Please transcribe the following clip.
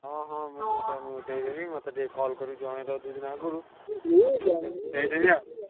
ହଁ ହଁ ମୁଁ ତମ ଦେଇଦେବି ମତେ ଟିକେ call କରି ଜଣେଇଦବ ଦି ଦିନି ଆଗରୁ ଦେଇଦେବି ଆଉ।